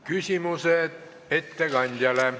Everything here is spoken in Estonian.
Küsimused ettekandjale.